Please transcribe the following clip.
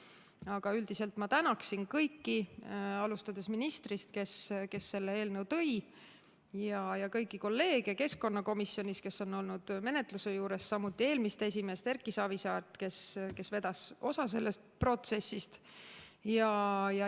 Aga üldiselt ma tänan kõiki, alustades ministrist, kes selle eelnõu siia tõi, ja kõiki kolleege keskkonnakomisjonist, kes on olnud menetluse juures, samuti eelmist esimeest Erki Savisaart, kes vedas osa sellest protsessist.